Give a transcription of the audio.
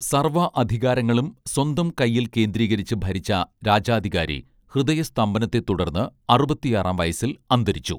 സർവ്വ അധികാരങ്ങളും സ്വന്തം കയ്യിൽ കേന്ദ്രീകരിച്ച് ഭരിച്ച രാജാധികാരി ഹൃദയ സ്തംഭനത്തെ തുടർന്ന് അറുപത്തിയാറാം വയസ്സിൽ അന്തരിച്ചു